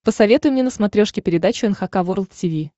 посоветуй мне на смотрешке передачу эн эйч кей волд ти ви